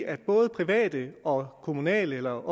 at både private og kommunerne eller